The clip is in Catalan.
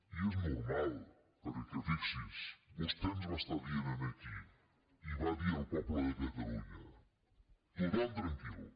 i és normal perquè fixi’s vostè ens va estar dient aquí i va dir al poble de catalunya tothom tranquil